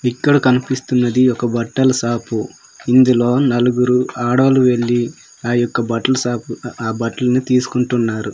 ఇక్కడ కనిపిస్తున్నది ఒక బట్టల షాపు ఇందులో నలుగురు ఆడోలు వెళ్లి ఆ యొక్క బట్టల షాపు ఆ బట్టల్ని తీసుకుంటున్నారు.